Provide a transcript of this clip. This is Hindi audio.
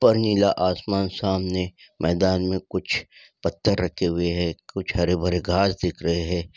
ऊपर नीला आसमान सामने मैदान में कुछ पत्थर रखे हुए हैं कुछ हरे भरे घास दिख रहे हैं।